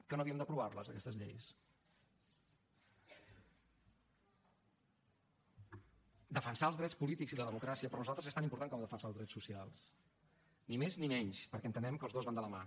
que no havíem d’aprovar les aquestes lleis defensar els drets polítics i la democràcia per nosaltres és tant important com defensar els drets socials ni més ni menys perquè entenem que els dos van de la mà